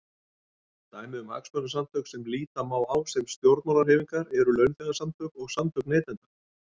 Dæmi um hagsmunasamtök sem líta má á sem stjórnmálahreyfingar eru launþegasamtök og samtök neytenda.